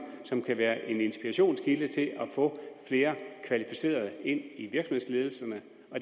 som kan være en inspirationskilde til at få flere kvalificerede ind i virksomhedsledelserne